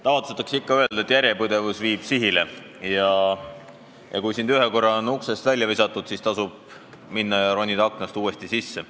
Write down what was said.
Tavatsetakse ikka öelda, et järjepidevus viib sihile: kui sind ühe korra on uksest välja visatud, siis tasub minna ja ronida aknast uuesti sisse.